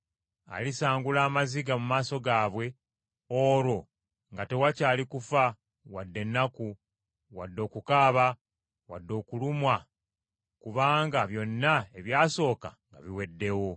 Alisangula amaziga mu maaso gaabwe, olwo nga tewakyali kufa, wadde ennaku, wadde okukaaba, wadde okulumwa kubanga byonna ebyasooka nga biweddewo.”